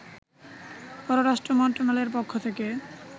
পররাষ্ট্র মন্ত্রণালয়ের পক্ষ থেকে